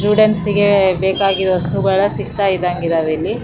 Students ಗೆ ಬೇಕಾಗಿರೋ ವಸ್ತುಗಳು ಸಿಕ್ತಾ ಇದ್ದಂಗ್ ಇದಾವೆ ಇಲ್ಲಿ .